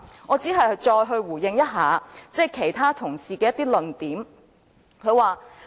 我只想再回應其他同事的一些論點。